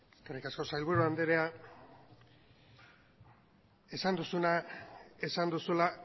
eskerrik asko sailburu andrea esan duzuna esan duzula